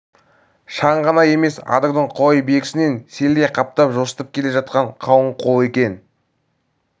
шаң ғана емес адырдың құлай берісінен селдей қаптап жосытып келе жатқан қалың қол екен